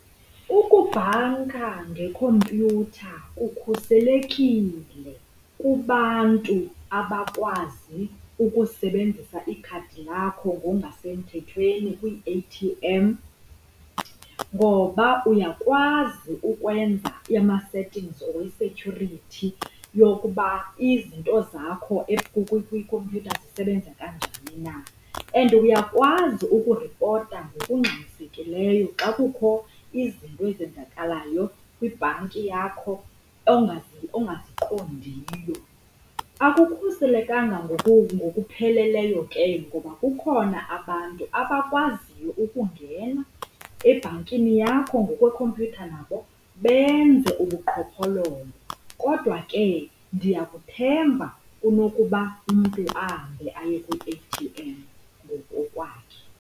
Ukubhanka ngekhompyutha kukhuselekile kubantu abakwazi ukusebenzisa ikhadi lakho ngongasemthethweni kwii-A_T_M ngoba uyakwazi ukwenza ama-settings or i-security yokuba izinto zakho kwikhompyutha zisebenza kanjani na. And uyakwazi ukuripota ngokungxamisekileyo xa kukho izinto ezenzakalayo kwibhanki yakho ongaziqondiyo. Akukhuselekanga ngokupheleleyo ke ngoba kukhona abantu abakwaziyo ukungena ebhankini yakho ngokwekhompyutha nabo benze ubuqhophololo. Kodwa ke, ndiyakuthemba kunokuba umntu ahambe aye kwi-A_T_M ngokokwakhe.